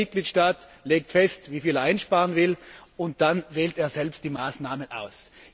Jeder Mitgliedstaat legt fest, wie viel er einsparen will, und dann wählt er selbst die Maßnahmen aus.